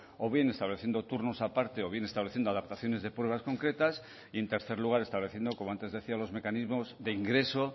o bien estableciendo turnos aparte o bien estableciendo adaptaciones de pruebas concretas y en tercer lugar estableciendo como antes decía los mecanismos de ingreso